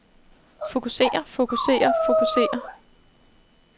fokuserer fokuserer fokuserer